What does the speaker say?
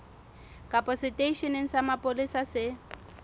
kapa seteisheneng sa mapolesa se